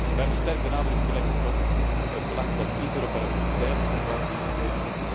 We hebben sterk de nadruk gelegd op het belang van de interoperabiliteit van het systeem.